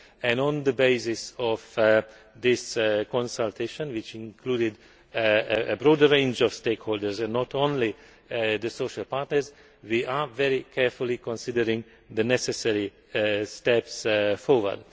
and on the basis of this consultation, which included a broader range of stakeholders and not only the social partners, we are very carefully considering the necessary steps forward.